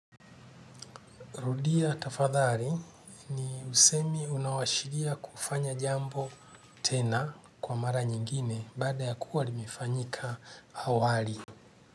Rudia tafadhali ni usemi unaoashiria kufanya jambo tena kwa mara nyingine baada ya kuwa limefanyika awali.